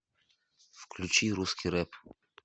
включи русский рэп